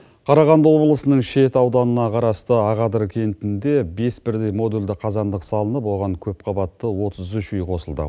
қарағанды облысының шет ауданына қарасты ақадір кентінде бес бірдей модульдік қазандық салынып оған көпқабатты отыз үш үй қосылды